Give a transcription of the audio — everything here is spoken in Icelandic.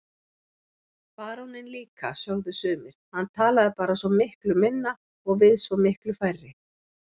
Baróninn líka, sögðu sumir, hann talaði bara svo miklu minna og við svo miklu færri.